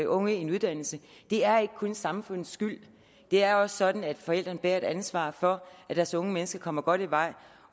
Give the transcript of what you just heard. unge en uddannelse det er ikke kun samfundets skyld det er også sådan at forældrene bærer et ansvar for at deres unge mennesker kommer godt i vej